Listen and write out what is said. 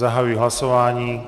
Zahajuji hlasování.